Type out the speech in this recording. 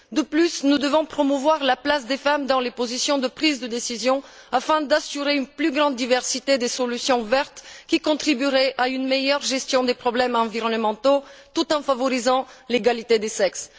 De plus, nous devons promouvoir la place des femmes dans les positions de prise de décision, afin d'assurer une plus grande diversité des solutions vertes, qui contribuerait à une meilleure gestion des problèmes environnementaux tout en favorisant l'égalité des sexes.